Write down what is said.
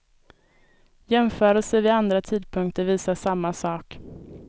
Jämförelser vid andra tidpunkter visar samma sak.